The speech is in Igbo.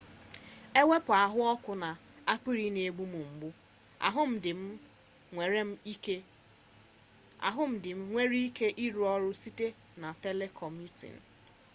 ewepu ahuoku na akpiri n'egbu m mgbu ahu di m enwere m ike iru oru site na telecommuting